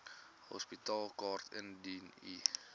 hospitaalkaart indien u